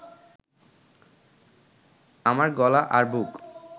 আমার গলা আর বুক